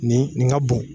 Nin nin ka bon